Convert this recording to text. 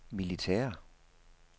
militære